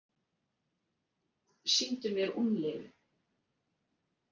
Sýndu mér úlnliðinn